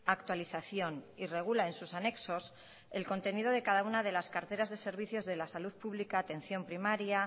actualización y regula en sus anexos el contenido de cada una de las carteras de servicios de la salud pública atención primaria